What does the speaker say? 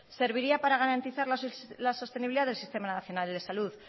serviría para garantizar la sostenibilidad del sistema nacional de salud